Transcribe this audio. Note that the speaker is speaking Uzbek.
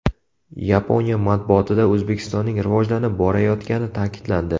Yaponiya matbuotida O‘zbekistonning rivojlanib borayotgani ta’kidlandi.